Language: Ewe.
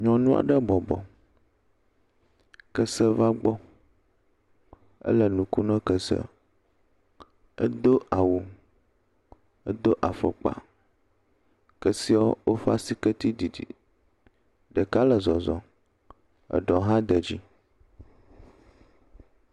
Nyɔnu aɖe bɔbɔ kese va gbɔ, ele nu kom nak ese, edo awu edo afɔkpa kesewo ƒe asike dzidzi, ɖeka le zɔzɔm eɖewo hã de dzi.